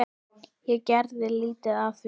Ég geri lítið af því.